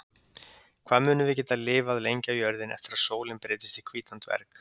Hvað munum við geta lifað lengi á jörðinni eftir að sólin breytist í hvítan dverg?